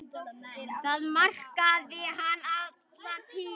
Það markaði hann alla tíð.